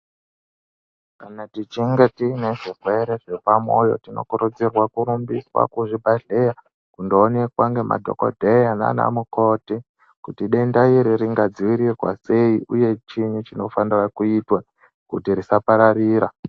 Kana tichinge tiine zvirwere zvepa mwoyo tino kurudzirwa kurumbiswa kuzvibhedhleya kundo onekwa ngemadhokodheya nana mukoti kuti denda iri ringa dzivirirwa sei uye chiinyi chinofanira kuitwa kuti risa pararira.